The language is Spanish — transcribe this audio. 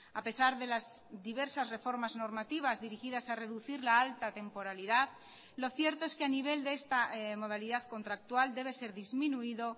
a pesar de las diversas reformas normativas dirigidas a reducir la alta temporalidad lo cierto es que a nivel de esta modalidad contractual debe ser disminuido